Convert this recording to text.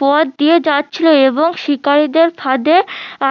পথ দিয়ে যাচ্ছিলো এবং শিকারিদের ফাঁদে